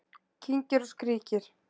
Kyngir og skríkir